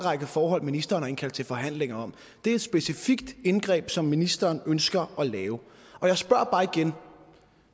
række forhold ministeren har indkaldt til forhandlinger om det er et specifikt indgreb som ministeren ønsker at lave og jeg spørger bare igen